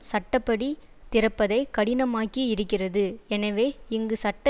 சட்ட படி திறப்பதைக் கடினமாக்கி இருக்கிறது எனவே இங்கு சட்ட